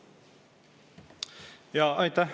Aitäh!